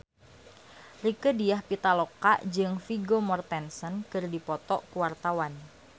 Rieke Diah Pitaloka jeung Vigo Mortensen keur dipoto ku wartawan